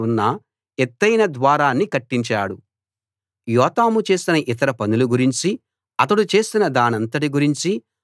యోతాము చేసిన ఇతర పనుల గురించి అతడు చేసిన దానంతటి గురించి యూదా రాజుల చరిత్ర గ్రంథంలో రాసి ఉంది